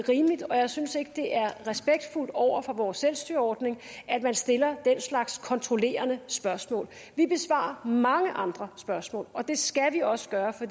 rimeligt og jeg synes ikke det er respektfuldt over for vores selvstyreordning at man stiller den slags kontrollerende spørgsmål vi besvarer mange andre spørgsmål og det skal vi også gøre for